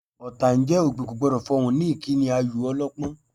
Ọ̀tá ń jẹ́, òpè kò gbọ́dọ̀ fọhùn ni ìkíni ayò ọlọ́pọ́n